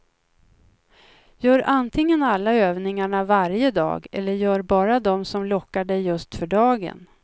Gör antingen alla övningarna varje dag, eller gör bara dem som lockar dig just för dagen.